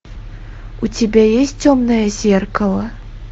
у тебя есть темное зеркало